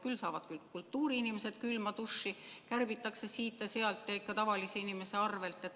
Küll saavad kultuuriinimesed külma dušši, kärbitakse siit ja sealt, ja ikka tavalise inimese arvel.